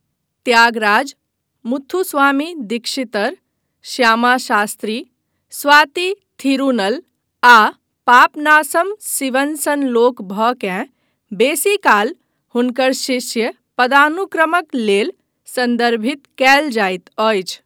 त्यागराज, मुथुस्वामी दीक्षितर, श्यामा शास्त्री, स्वाति थिरूनल आ पापनासम सिवन सन लोक भकेँ बेसीकाल हुनकर शिष्य पदानुक्रमक लेल सन्दर्भित कयल जाइत अछि।